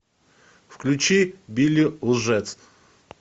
включи билли лжец